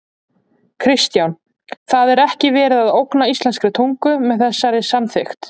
Kristján: Það er ekki verið að ógna íslenskri tungu með þessari samþykkt?